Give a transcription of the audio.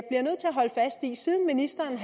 siden ministeren